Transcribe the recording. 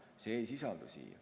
See ei sisaldu siin.